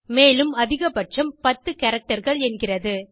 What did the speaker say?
மேலும் அதிகபட்சம் 10 characterகள் என்கிறது